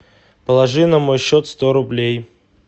положи на мой счет сто рублей